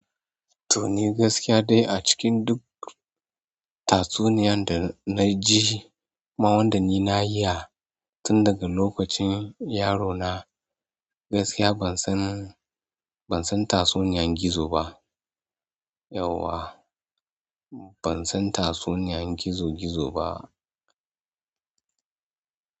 To ni gaskiya dai a cikin duk tatsuniyan da na ji ma wanda ni na yi ha tun daga lokacin yaro na, gaskiya ban san, ban san tatsuniyan gizo ba. Yauwa ban san tatsuniyan gizo gizo ba.